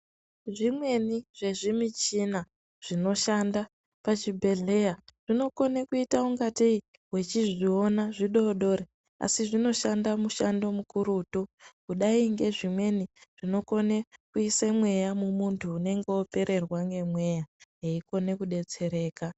Zvimweni zvezvimichina zvinoshanda pachibhedhleya ,zvinokone kuita kungatei wechizviona zvidodori asi zvinoshanda mushando mukurutu ,kudai ngezvimweni zvinokone kuisa mweya mumuntu unenge opererwa ngemweya eikone kudetsereka.